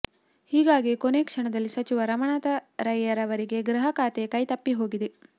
ಹೀಗಾಗಿ ಕೊನೆ ಕ್ಷಣದಲ್ಲಿ ಸಚಿವ ರಮಾನಾಥ ರೈಯವರಿಗೆ ಗೃಹ ಖಾತೆ ಕೈ ತಪ್ಪಿ ಹೋಗಿದೆ